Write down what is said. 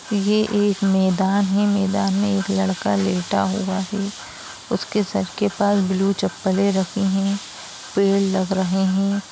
ये एक मैदान है। मैदान में एक लड़का लेटा हुआ है उसके सर के पास ब्लू चप्पलें रखी हैं। पेड़ लग रहे हैं।